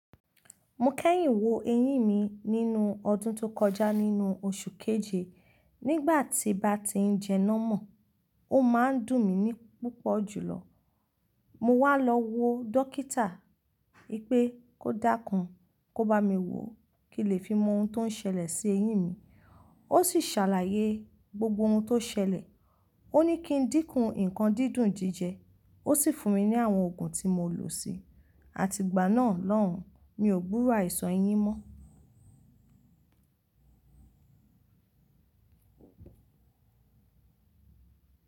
Mo kẹ́yìn wo eyín mi nínú ọdún tó kọjá nínú oṣù keje. Nígbà tí bá ti ń jẹ námọ̀, ó máa ń dùn mí ní púpọ̀ jùlọ. Mo wá lọ wo dọkítà wipé kó dákún kó bá mi wò kí lè fi mọ oun tó ń ṣẹlẹ̀ sí eyín mi. Ó sì ṣàlàyé gbogbo ohun tó ṣẹlẹ̀. Ó ní kí n dínkù nǹkan dídùn díje. Ó sì fún mi ní àwọn òògùn tí mo lò si. Àti ìgbà náà lọ́hùn, mi ò gburo aisan eyín mọ́.